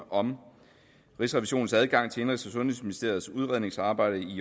om rigsrevisionens adgang til indenrigs og sundhedsministeriets udredningsarbejde i